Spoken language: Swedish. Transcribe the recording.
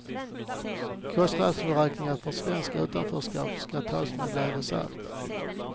Kostnadsberäkningar för ett svenskt utanförskap ska tas med en näve salt.